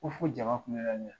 Ko fo jama kulela ne la.